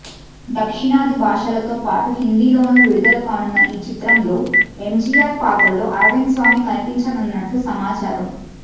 దక్షిణాది భాషలతో పాటు హిందీలోను విడుదల కానున్న ఈ చిత్రంలో ఎంజీఆర్ పాత్రలో అరవింద్ స్వామి కనిపించనున్నట్లు సమాచారం